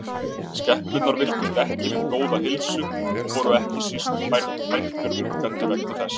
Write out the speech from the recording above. Skepnurnar virtust ekki við góða heilsu og voru ekki síst bændur uggandi vegna þess.